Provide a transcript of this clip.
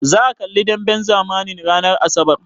Zaka kalli demben zamanin ranar asabar?